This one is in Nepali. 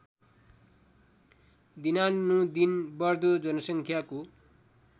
दिनानुदिन बढ्दो जनसङ्ख्याको